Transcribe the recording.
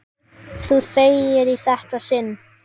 Þú þegir í þetta sinn!